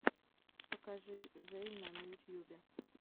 покажи зэйна на ютьюбе